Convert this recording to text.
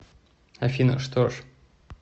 афина что ж